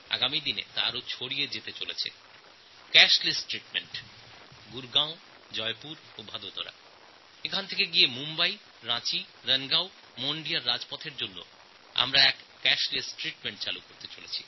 আমি আরও একটি প্রকল্প গ্রহণ করেছি যা গুরগাঁও জয়পুর আর বদোদরা থেকে শুরু করে মুম্বই রাঁচি রণগাঁও মোণ্ডিয়ার রাজপথসহ দেশের সমস্ত রাজপথ জুড়ে বিস্তার লাভ করবে